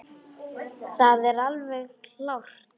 Það er alveg klárt.